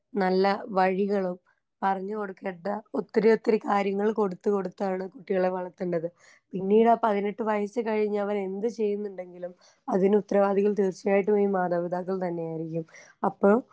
നല്ല വഴികളും പറഞ്ഞ് കൊടുക്കേണ്ട ഒത്തിരി ഒത്തിരി കാര്യങ്ങൾ കൊടുത്ത് കൊടുത്താണ് കുട്ടികളെ വളർത്തണ്ടത് പിന്നീടാ പതിനെട്ട് വയസ്സ് കഴിഞ്ഞവനെന്ത് ചെയ്യുന്നുണ്ടെങ്കിലും അതിനുത്തരവാദികൾ തീർച്ചായിട്ടും ഈ മാതാപിതാക്കൾ തന്നെയായിരിക്കും അപ്പൊ.